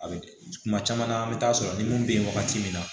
A bɛ tuma caman na an bɛ taa sɔrɔ ni mun bɛ ye wagati min na